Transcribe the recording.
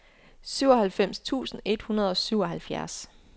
syvoghalvfems tusind et hundrede og syvoghalvfjerds